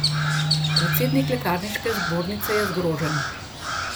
Predsednik lekarniške zbornice je zgrožen.